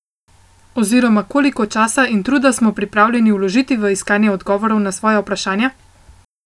Oziroma koliko časa in truda smo pripravljeni vložiti v iskanje odgovorov na svoja vprašanja?